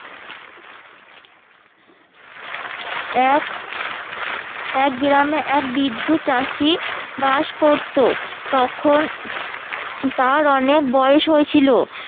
এক এক গিরামে এক বৃদ্ধ চাষি বাস করতো তখন তার অনেক বয়স হয়েছিল